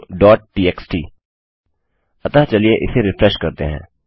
तो txt अतः चलिए इसे रिफ्रेश करते हैं